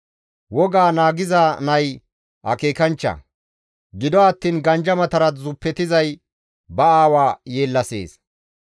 Wogaa naagiza nay akeekanchcha; gido attiin ganjamatara zuppetizay ba aawa yeellasees.